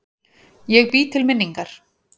Ég bý til minningar.